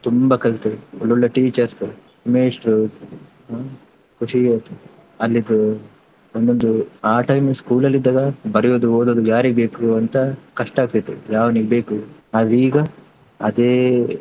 ತುಂಬಾ ಕಲ್ತೆ ಒಳ್ಳೊಳ್ಳೆ teacher, ಮೇಷ್ಟ್ರು ಹ್ಮ್ ಖುಷಿ ಆಯ್ತು ಅಲ್ಲಿದು ಒಂದೊಂದು ಆ time school ಅಲ್ಲಿ ಇದ್ದಾಗ ಬರೆಯುದು ಓದುದು ಯಾರಿಗೆ ಬೇಕು ಅಂತ ಕಷ್ಟ ಆಗ್ತಿತ್ತು. ಯಾವನಿಗೆ ಬೇಕು ಆದ್ರೆ ಈಗ ಅದೇ.